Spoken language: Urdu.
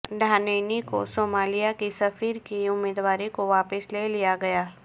ڈہانینی کی صومالیہ کی سفیر کی امیدواری کو واپس لے لیا گیا